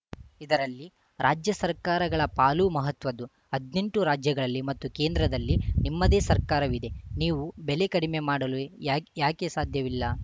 ಇದರಲ್ಲಿ ರಾಜ್ಯ ಸರ್ಕಾರಗಳ ಪಾಲೂ ಮಹತ್ವದ್ದು ಹದ್ನೆಂಟು ರಾಜ್ಯಗಳಲ್ಲಿ ಮತ್ತು ಕೇಂದ್ರದಲ್ಲಿ ನಿಮ್ಮದೇ ಸರ್ಕಾರವಿದೆ ನೀವು ಬೆಲೆ ಕಡಿಮೆ ಮಾಡಲು ಯಾಕೆ ಸಾಧ್ಯವಿಲ್ಲ